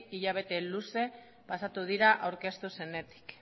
hilabete luze pasatu dira aurkeztu zenetik